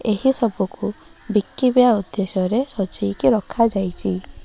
ଏହି ସବୁ କୁ ବିକିବା ଉଦ୍ଦେଶ୍ୟ ରେ ସଜାଇ କି ରଖା ଯାଇଛି।